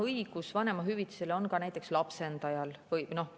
Õigus vanemahüvitisele on ka näiteks lapsendajal.